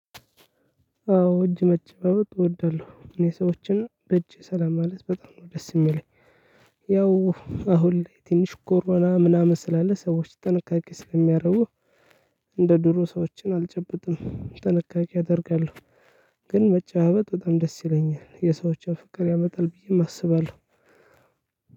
አዎ እጅ መጨባበጥ እወዳለሁ እኔ ሰዎችን በእጅ ሰላም ማለት በጣም ነው ደስ የሚለኝ። ያው አሁን ላይ ትንሽ ኮሮና ምናምን ስላለ ሰዎች ጥንቃቄ ስለሚያደርጉ እንደ ድሮ ሰዎችን አልጨብጥም ጥንቃቄ አደርጋለሁ። ግን መጨባበጥ በጣም ደስ ይለኛል የሰዎችን ፍቅር ያመጣል ብዬም አስባለሁ።